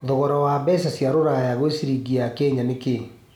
thogora wa mbeca cia rũraya gwĩ ciringi ya Kenya nĩ kĩĩ